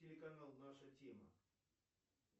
телеканал наша тема